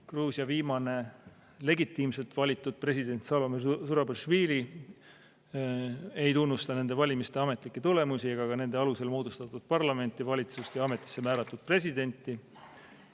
Gruusia viimane legitiimselt valitud president Salome Zurabišvili ei tunnusta nende valimiste ametlikke tulemusi ega ka nende alusel moodustatud parlamenti, valitsust ja ametisse määratud presidenti.